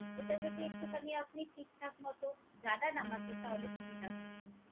এটা যদি এক্টুখানি আপনি ঠিকঠাক মতো জানান আমাকে তাহলে সুবিধা হয়।